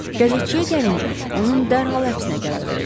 Qəzetçiyə gəlincə, onun dərhal həbsinə qərar verəcəm.